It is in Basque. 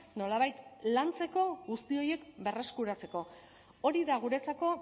nolabait lantzeko guzti horiek berreskuratzeko hori da guretzako